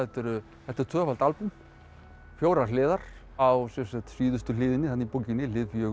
þetta er tvöfalt albúm fjórar hliðar á síðustu hliðinni í bókinni hlið fjögur